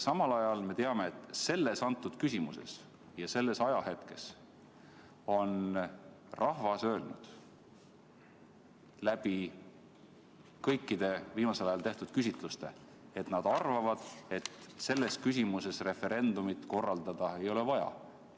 Samal ajal me teame, et selles küsimuses ja sellel ajahetkel on rahvas öelnud kõigil viimasel ajal tehtud küsitlustel, et nad arvavad, et seda referendumit korraldada ei ole vaja.